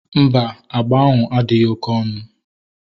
Mba, agba ahụ adịghị oké onu